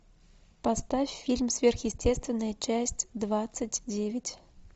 поставь фильм сверхъестественное часть двадцать девять